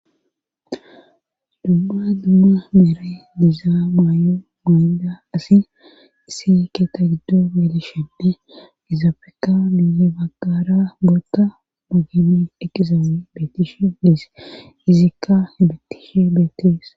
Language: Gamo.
dumma dumma meera diiza maayo mayida asi isi keeta giddo gelishene izaafeka miye baggara koota mayidi eqizay beetishe des izikka hemetishe beetis